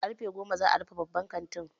Karfe goma za'a rufe babban kantin.